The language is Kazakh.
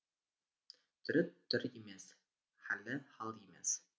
түрі түр емес халі хал емес